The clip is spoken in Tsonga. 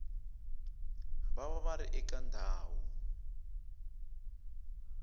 va va ri eka ndhawu